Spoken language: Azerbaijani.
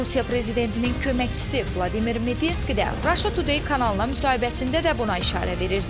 Rusiya prezidentinin köməkçisi Vladimir Medinski də Russia Today kanalına müsahibəsində də buna işarə verirdi.